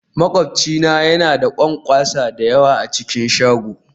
Makwabci na yana da ƙwanƙwasa da yawa a cikin shagon